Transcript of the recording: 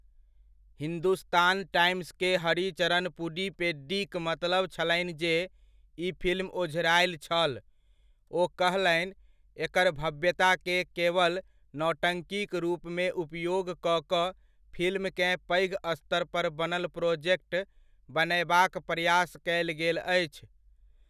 Hindustan Times के हरिचरण पुडीपेड्डीक मनतब छलनि जे ई फिल्म ओझरायल छल, ओ कहलनि, 'एकर भव्यताकेँ केवल नौटंकीक रूपमे उपयोग कऽ कऽ फिल्मकेँ पैघ स्तरपर बनल प्रोजेक्ट बनयबाक प्रयास कयल गेल अछि।